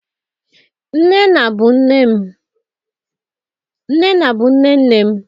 nnenna bu nne nnem